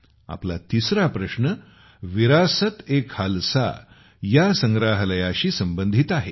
आपला तिसरा प्रश्न विरासतएखालसा या संग्रहालयाशी संबंधित आहे